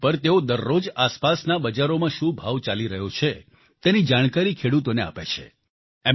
આ ગ્રુપ પર તેઓ દરરોજ આસપાસની બજારોમાં શું ભાવ ચાલી રહ્યો છે તેની જાણકારી ખેડૂતોને આપે છે